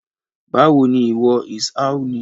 Báwo ni ìwọ? Is How ni